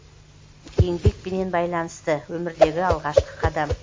еңбекпенен байланысты өмірдегі алғашқы қадам